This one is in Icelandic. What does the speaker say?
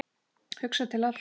Hugsa til allra.